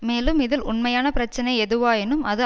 மேலும் இதில் உண்மையான பிரச்சினை எதுவாயினும் அது